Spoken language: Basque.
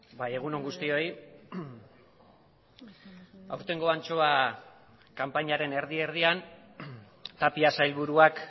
bai egun on guztioi aurtengo antxoa kanpainaren erdi erdian tapia sailburuak